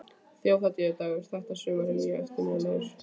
Þjóðhátíðardagurinn þetta sumar er mjög eftirminnilegur.